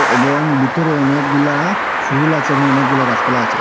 এবং ভিতরে অনেকগুলা ফুল আছে এবং অনেকগুলা গাছপালা আছে।